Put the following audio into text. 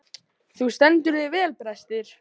Þú stendur þig vel, Brestir!